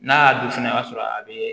N'a y'a dun fɛnɛ o y'a sɔrɔ a bɛ